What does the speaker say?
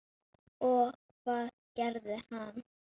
Og hvað gerði hann?